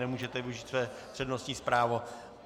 Nemůžete využít své přednostní právo.